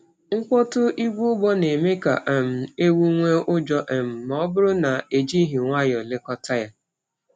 Mkpọtụ igwe ugbo na-eme ka um ewu nwee ụjọ um ma ọ bụrụ na e jighị nwayọọ lekọta ya.